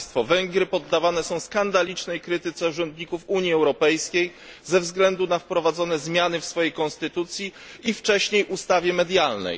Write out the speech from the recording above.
Węgry poddawane są skandalicznej krytyce urzędników Unii Europejskiej ze względu na wprowadzone zmiany w swojej konstytucji i wcześniej w ustawie medialnej.